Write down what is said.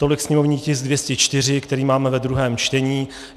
Tolik sněmovní tisk 204, který máme ve druhém čtení.